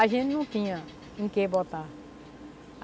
A gente não tinha em que botar.